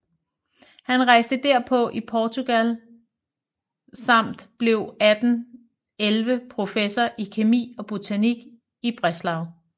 Han rejste derpå i Portugal samt blev 1811 professor i kemi og botanik i Breslau